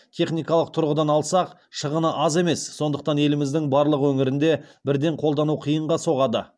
техникалық тұрғыдан алсақ шығыны аз емес сондықтан еліміздің барлық өңірінде бірден қолдану қиынға соғады